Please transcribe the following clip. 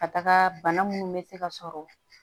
Ka taga bana munnu be se ka sɔrɔ